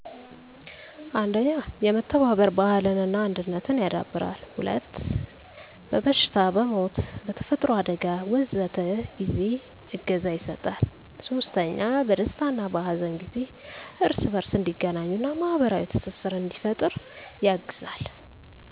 1. የመተባበር ባህልን እና አንድነትን ያዳብራል። 2. በበሽታ፣ በሞት፣ በተፈጥሮ አደጋ... ወዘተ ጊዜ እገዛ ይሰጣል። 3. በደስታ እና በሀዘን ጊዜ እርስ በርስ እንዲገናኙ እና ማህበራዊ ትስስርን እንዲፈጥሩ ያግዛል።